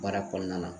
Baara kɔnɔna na